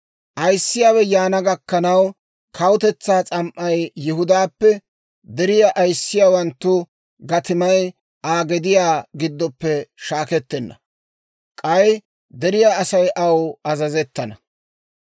Ayissiyaawe yaana gakkanaw, Kawutetsaa s'am"ay Yihudaappe, deriyaa ayissiyaawanttu gatimay Aa gediyaa giddoppe shaakettenna. K'ay deriyaa Asay aw azazettana.